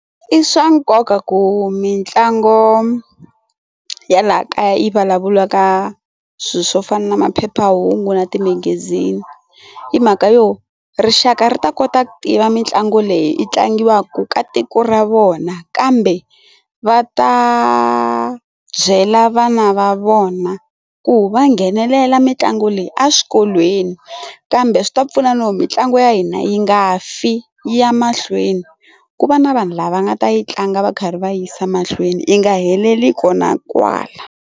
I swa nkoka ku mitlangu ya laha kaya yi vulavuriwaka swilo swo fana na maphephahungu na timegezini hi mhaka yo rixaka ri ta kota ku tiva mitlangu leyi i tlangiwaka ka tiko ra vona kambe va ta byela vana va vona ku va nghenelela mitlangu leyi eswikolweni kambe swi ta pfuna no mitlangu ya hina yi nga fi ya mahlweni ku va na vanhu lava nga ta yi tlanga va karhi va yisa mahlweni yi nga heleli ko na kwala.